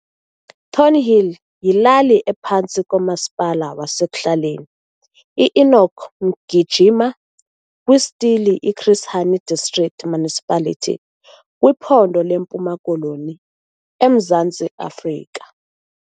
Thornhill yilali ephantsi komaspala wasek'hlaleni iEnoch Mgijima kwisithili iChris Hani District Municipality kwiphondo leMpuma Koloni eMzantsi Afrika.